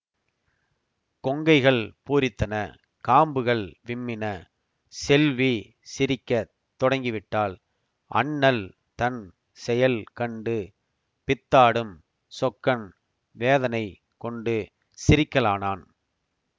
கொங்கைகள் பூரித்தன காம்புகள் விம்மின செல்வி சிரிக்க தொடங்கிவிட்டாள் அண்ணல் தன் செயல் கண்டு பித்தாடும் சொக்கன் வேதனை கொண்டு சிரிக்கலானான்